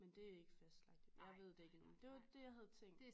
Men det ikke fastlagt jeg ved det ikke endnu men det var det jeg havde tænkt